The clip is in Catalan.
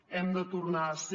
hem de tornar a ser